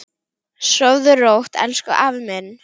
Sofðu rótt, elsku afi minn.